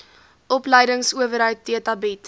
opleidingsowerheid theta bied